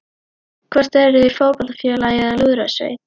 Hvort eruð þið í fótboltafélagi eða lúðrasveit?